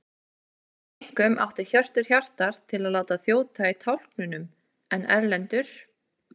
Einkum átti Hjörtur Hjartar til að láta þjóta í tálknunum, en Erlendur